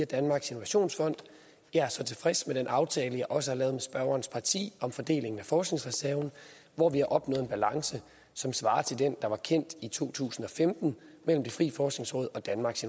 danmarks innovationsfond jeg er så tilfreds med den aftale jeg også har lavet med spørgerens parti om fordeling af forskningsreserven hvor vi har opnået en balance som svarer til den der var kendt i to tusind og femten mellem det frie forskningsråd og danmarks